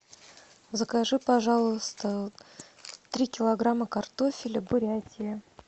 закажи пожалуйста три килограмма картофеля бурятия